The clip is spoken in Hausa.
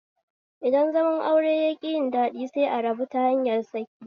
Idan zaman aure yaƙi yin daɗi sai a rabu ta hanyar saki